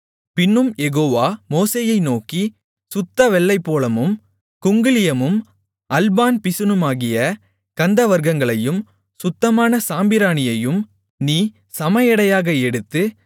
பின்னும் யெகோவா மோசேயை நோக்கி சுத்த வெள்ளைப்போளமும் குங்கிலியமும் அல்பான் பிசினுமாகிய கந்தவர்க்கங்களையும் சுத்தமான சாம்பிராணியையும் நீ சமஎடையாக எடுத்து